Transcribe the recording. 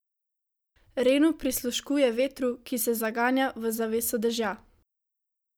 Renu prisluškuje vetru, ki se zaganja v zaveso dežja.